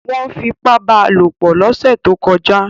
Wọ́n fipá bá a lò pọ̀ lọ́sẹ̀ tó kọjá